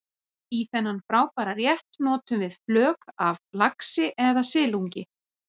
Í þennan frábæra rétt notum við flök af laxi eða silungi.